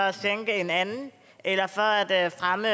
at sænke en anden eller for at at fremme